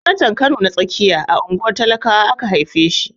Sanatan Kano ta tsakiya a unguwar talakawa aka haife shi.